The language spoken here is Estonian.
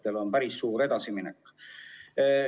See on päris suur edasiminek.